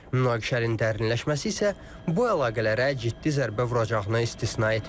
Münaqişənin dərinləşməsi isə bu əlaqələrə ciddi zərbə vuracağını istisna etmir.